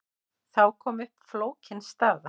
Þá kom upp flókin staða.